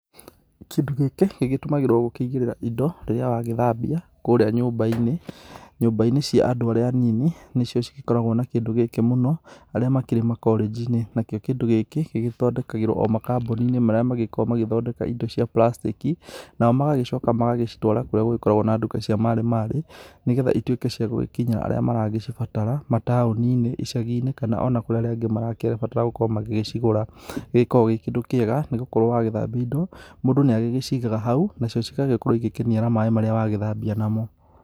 Kĩndũ gĩkĩ, gĩgĩtũmagĩrwo gũkĩigĩrĩra indo rĩrĩa wagĩthambia kũrĩa nyũmba-inĩ. Nyũmba-inĩ cia andũ arĩa anini nĩcio cigĩkoragwo na kĩndũ gĩkĩ mũno, arĩa makĩrĩ makorĩjinĩ. Nakĩo kĩndũ gĩkĩ, gĩgĩthondekagĩrwo o makambuninĩ marĩa magĩkoragwo magĩthondeka indo cia prastĩki. Nao magagĩcoka magagĩcitwara kũrĩa gũgĩkoragwo na nduka cia marĩ marĩ. Nĩgetha ituĩke cia gũgĩkinyĩra arĩa maragĩcibatara, matao-ninĩ, icagi-nĩ, kana ona kũrĩ arĩa angĩ maragĩbatara gũkorwo magĩcigũra. Nĩ gĩkoragwo gĩ kĩndũ kĩega, nigũkorwo wagĩthambia indo, mũndũ nĩagĩgĩcigaga hau. Nacio cigagĩgĩkorwo igĩkĩniara maĩ marĩa wagĩthambia namo